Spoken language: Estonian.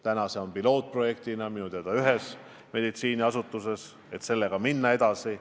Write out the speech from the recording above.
Praegu on see pilootprojektina minu teada kasutusel ühes meditsiiniasutuses, sellega tuleb edasi minna.